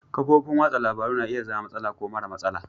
Kafofin wasan labaru na iya zama da matsala ko mara matsala.